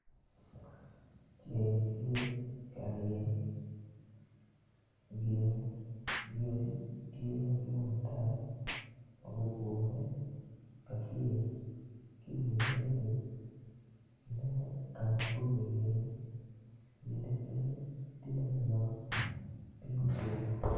Ceng tye karyeny yeya tye ki yec madwong ata ma gugure kacel ki inge yadi ni inongo kamabor i iye yadi pe tye manok nok piny otwoo